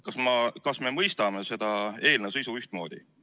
Kas me mõistame seda eelnõu sisu ühtmoodi?